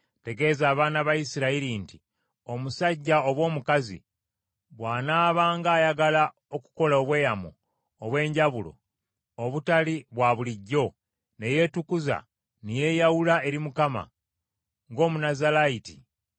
“Tegeeza abaana ba Isirayiri nti, Omusajja oba omukazi bw’anaabanga ayagala okukola obweyamo obw’enjawulo obutali bwa bulijjo ne yeetukuza ne yeeyawula eri Mukama ng’Omunazaalayiti ,